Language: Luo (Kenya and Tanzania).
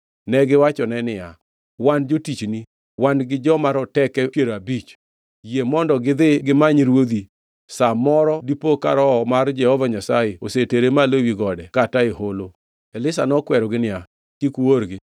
Negiwachone niya, “Wan jotichni, wan gi joma roteke piero abich. Yie mondo gidhi gimany ruodhi; sa moro dipo ka Roho mar Jehova Nyasaye osetere malo ewi gode kata e holo.” Elisha nokwerogi niya, “Kik uorgi.”